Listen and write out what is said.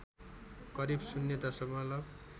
करिब शून्य दशमलव